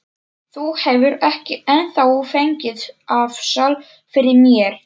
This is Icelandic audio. Þú hefur ekki ennþá fengið afsal fyrir mér.